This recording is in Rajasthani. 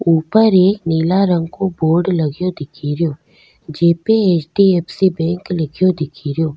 ऊपर एक नीला रंग को बोर्ड लग्यो दिखेरो जेपे H D F C bank लिख्यो दिखेरो।